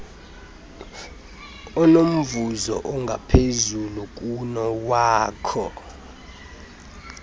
onomvuzo ongaphezulu kunowakho